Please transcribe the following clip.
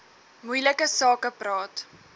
moeilike sake praat